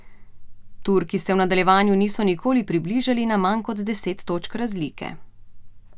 Turki se v nadaljevanju niso nikoli približali na manj kot deset točk razlike.